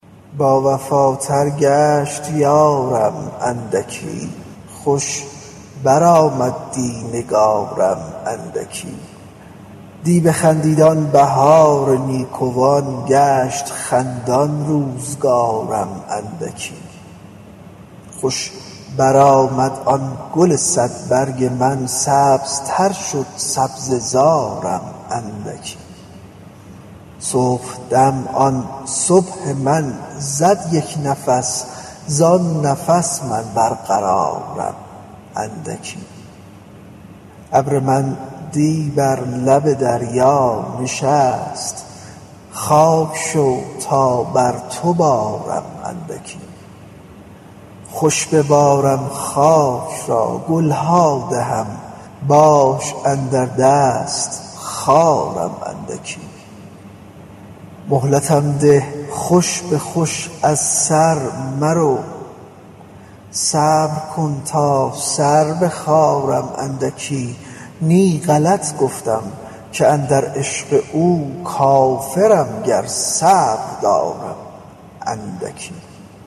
باوفاتر گشت یارم اندکی خوش برآمد دی نگارم اندکی دی بخندید آن بهار نیکوان گشت خندان روزگارم اندکی خوش برآمد آن گل صدبرگ من سبزتر شد سبزه زارم اندکی صبحدم آن صبح من زد یک نفس زان نفس من برقرارم اندکی ابر من دی بر لب دریا نشست خاک شو تا بر تو بارم اندکی خوش ببارم خاک را گل ها دهم باش کاندر دست خارم اندکی مهلتم ده خوش به خوش از سر مرو صبر کن تا سر بخارم اندکی نی غلط گفتم که اندر عشق او کافرم گر صبر دارم اندکی